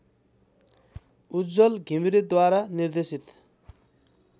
उज्ज्वल घिमिरेद्वारा निर्देशित